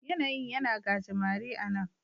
Yanayin yana gajimare a' nan.